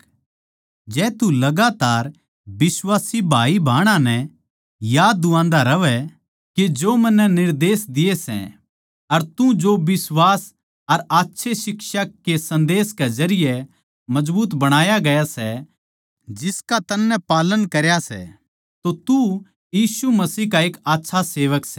जै तू लगातार बिश्वासी भाईभाहनां नै याद दुआन्दा रहवै के जो मन्नै निर्देश दिए सै अर तू जो बिश्वास अर अच्छे शिक्षा के सन्देस के जरिये मजबूत बणाया गया सै जिसका तन्नै पालन करया सै तो तू मसीह का एक आच्छा सेवक सै